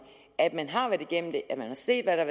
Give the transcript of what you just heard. at man har været igennem det at man har set hvad der